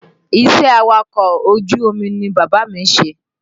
Iṣẹ́ awakọ̀ ojú omi ni bàbá mi ń ṣe